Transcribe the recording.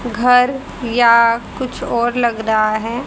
घर या कुछ और लग रहा है।